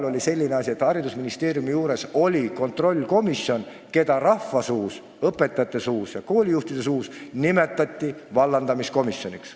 – oli selline asi, et haridusministeeriumi juures oli kontrollkomisjon, keda rahvasuus, õpetajate suus ja koolijuhtide suus nimetati vallandamiskomisjoniks.